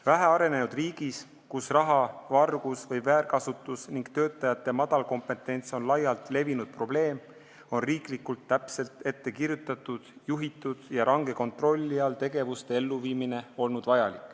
Vähearenenud riigis, kus raha vargus või väärkasutus ning töötajate vähene kompetents on laialt levinud probleem, on olnud vajalik viia tegevusi ellu riiklikult täpselt ettekirjutatuna, juhituna ja range kontrolli all.